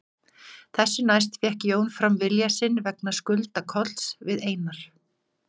Þessu næst fékk Jón fram vilja sinn vegna skulda Kolls við Einar